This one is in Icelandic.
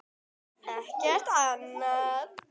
Ekkert annað.